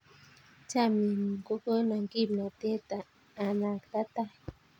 Chamyengung ko kona kimnatet anakta tai